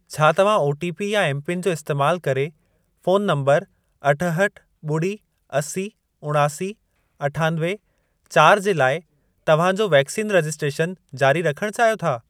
छा तव्हां ओटीपी या एमपिन जो इस्तैमाल करे फोन नंबर अठहठि, ॿुड़ी, असी, उणासी, अठानवे, चारि जे लाइ तव्हां जो वैक्सीन रजिस्ट्रेशन जारी रखण चाहियो था?